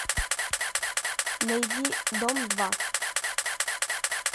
найди дом два